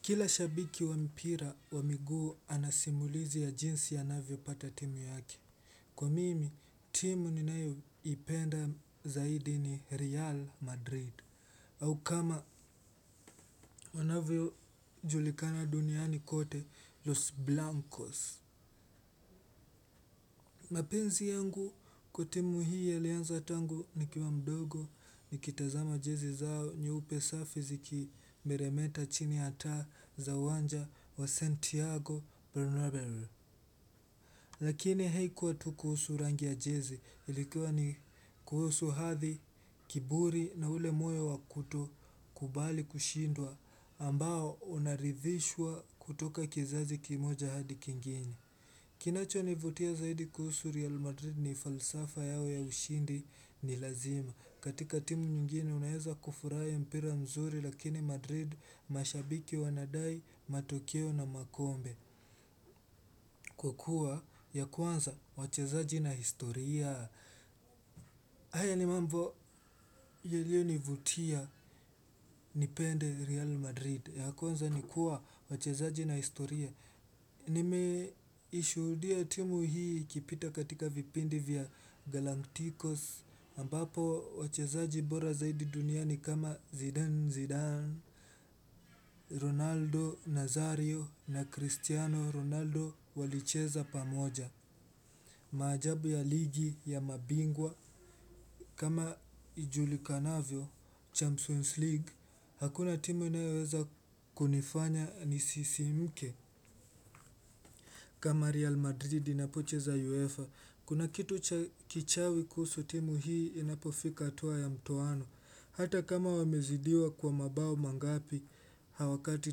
Kila shabiki wa mpira wa miguu anasimulizi ya jinsi anavyo pata timu yake. Kwa mimi, timu ninayoipenda zaidi ni Real Madrid. Au kama wanavyo julikana duniani kote Los Blancos. Mapenzi yangu kwa timu hii yalianza tangu nikiwa mdogo nikitazama jezi zao nyeupe safi zikimeremeta chini ya taa za uwanja wa Santiago, Bernabeu. Lakini haikuwa tu kuhusu rangi ya jezi. Ilikuwa ni kuhusu hathi, kiburi na ule moyo wakutokubali kushindwa ambao unaridhishwa kutoka kizazi kimoja hadi kingine. Kinacho nivutia zaidi kuhusu Real Madrid ni falsafa yao ya ushindi ni lazima katika timu nyingine unaeza kufurahi mpira mzuri lakini Madrid mashabiki wanadai, matokeo na makombe. Kwa kuwa ya kwanza wachezaji na historia. Haya ni mambo yeliyonivutia nipende Real Madrid. Ya kwanza nikua wachezaji na historia. Nimeishudia timu hii ikipita katika vipindi vya Galanticos. Ambapo wachezaji bora zaidi duniani kama Zidane Zidane Ronaldo Nazario na Cristiano Ronaldo walicheza pamoja. Maajabu ya ligi ya mabingwa kama ijulikanavyo, Champs-Wins League. Hakuna timu inaweza kunifanya nisisimke. Kama Real Madrid inapocheza UEFA. Kuna kitu kichawi kuhusu timu hii inapofika hatua ya mtoano hata kama wamezidiwa kwa mabao mangapi hawakati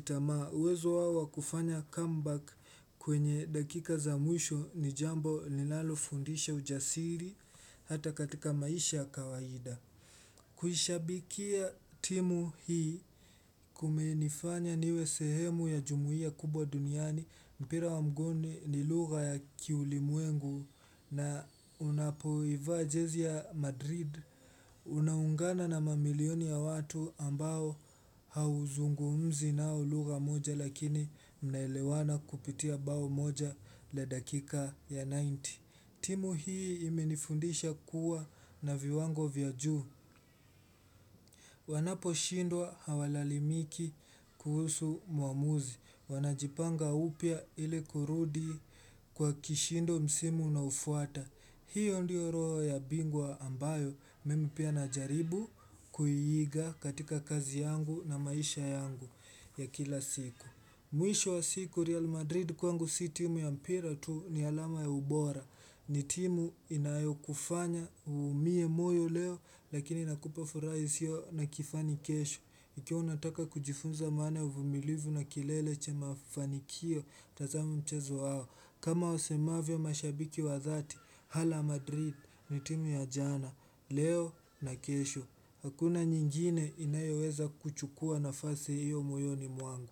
tamaa, uwezo wawa kufanya comeback kwenye dakika za mwisho ni jambo ninalofundisha ujasiri hata katika maisha ya kawaida. Kuhishabikia timu hii kumenifanya niwe sehemu ya jumuhia kubwa duniani mpira wa mguuni ni lugha ya kiulimwengu na unapoivaa jezi ya Madrid. Unaungana na mamilioni ya watu ambao hauzungumzi nao lugha moja lakini mnaelewana kupitia bao moja la dakika ya tisini. Timu hii imenifundisha kuwa na viwango vyajuu. Wanapo shindwa hawalalamiki kuhusu muamuzi. Wanajipanga upya ili kurudi kwa kishindo msimu unaofuata. Hiyo ndiyo roho ya bingwa ambayo mimi pia na jaribu kuiiga katika kazi yangu na maisha yangu ya kila siku. Mwisho wa siku Real Madrid kwangu si timu ya mpira tu ni alama ya ubora. Ni timu inayo kufanya umie moyo leo lakini inakupa furaha isio na kifani kesho. Ikiwa unataka kujifunza maana ya uvumilivu na kileleche cha mafanikio tazama mchezo wao. Kama wasemavyo mashabiki wa dhati, hala Madrid ni timu ya jana, leo na kesho. Hakuna nyingine inayoweza kuchukua nafasi hiyo moyoni mwangu.